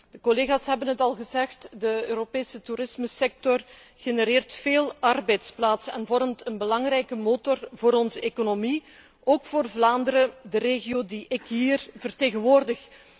De collega's hebben het al gezegd, de Europese toerismesector genereert veel arbeidsplaatsen en vormt een belangrijke motor voor onze economie, ook voor Vlaanderen, de regio die ik hier vertegenwoordig.